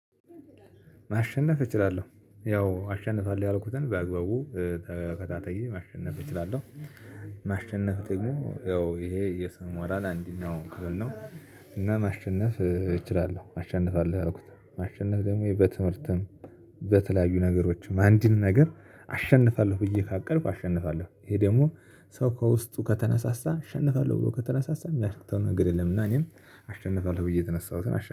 ማሸነፍ እችላለሁ ያው አሸንፋለሁ ያልኩትን በአግባቡ ተከታትዬ ማሸነፍ እችላለሁ። ማሸነፍ ደግሞ ያው ይሄ የሰው ሞራል እንደኛው ክብር ነው። እና ማሸነፍ እችላለሁ አሸንፋለሁ አልኩትን ማሸነፍ ደግሞ በትምህርትም በተለያዩ ነገሮችም አንድን ነገር አሸንፋለሁ ብዬ ካቀርድኩ አሸንፋለሁ ይሄ ደግሞ ሰው ከውስጡ ከተነሳሳ አሸንፋለሁ ብሎ ከተነሳሳ የሚያቅተው ነገር የለም እና እኔም አሸንፋለው ብዬ የተነሳሁትን አሸን